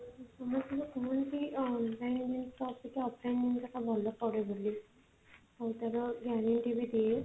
ସବୁବେଳେ ସବୁ କିଛି online ରୁ ଜିନିଷ ଆସିକି offline ଗୁରାକ ଭଲ ପଡେ ବୋଲି ଆଉ ତାର ବି ଦିଏ